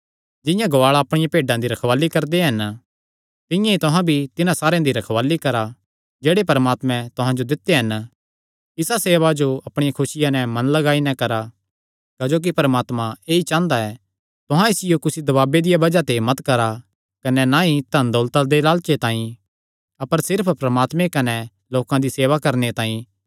जिंआं गुआल़ा अपणियां भेड्डां दी रखवाल़ी करदे हन तिंआं ई तुहां भी तिन्हां सारेयां दी रखवाल़ी करा जेह्ड़े परमात्मे तुहां जो दित्यो हन इसा सेवा जो अपणिया खुसिया नैं मन लगाई नैं करा क्जोकि परमात्मा ऐई चांह़दा ऐ तुहां इसियो कुसी दबाबे दिया बज़ाह ते मत करा कने ना ई धनदौलता दे लालचे तांई अपर सिर्फ परमात्मे कने लोकां दी सेवा करणे तांई